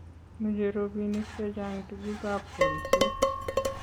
mechei robinik che chang tugukab kolset